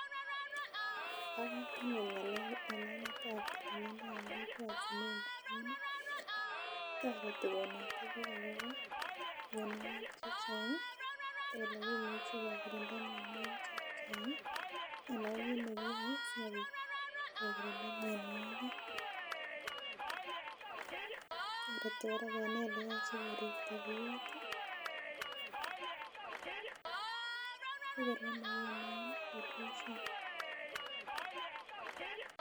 Bo komonut ng'alek ab tililindo en kokwet amun toreti konete biik akobo mionwogik chechang ih elekimuche kekirinda mionwogik chechang ih anan ko kit nekiyoe sikobit kekirinda mionwogik toreti kora kenai eleoche keripto biut ih sikor komakinam pollution